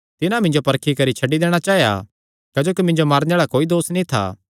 तिन्हां मिन्जो परखी करी छड्डी दैणा चाया क्जोकि मिन्जो मारने आल़ा कोई दोस नीं था